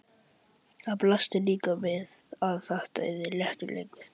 Það blasti líka við að þetta yrði léttur leikur.